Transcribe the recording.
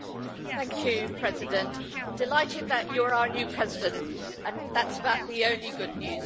Mr President, delighted that you're our new President and that's about the only good news.